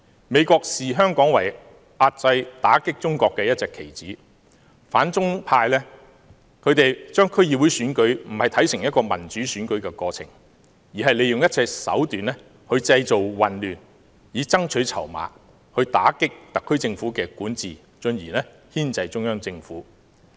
美國視香港為遏制、打擊中國的一隻棋子，反中派不是將區議會選舉看作是民主選舉的過程，而是利用一切手段製造混亂來爭取籌碼，打擊特區政府管治，進而牽制中央政府。